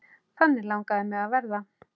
Þannig langaði mig að verða.